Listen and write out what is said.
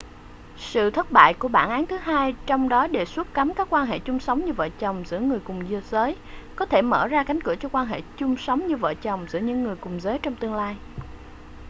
sự thất bại của bản án thứ hai trong đó đề xuất cấm các quan hệ chung sống như vợ chồng giữa người cùng giới có thể mở ra cánh cửa cho quan hệ chung sống như vợ chồng giữa người cùng giới trong tương lai